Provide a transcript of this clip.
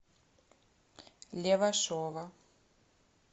левашова